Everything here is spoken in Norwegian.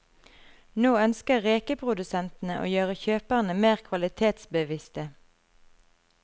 Nå ønsker rekeprodusentene å gjøre kjøperne mer kvalitetsbevisste.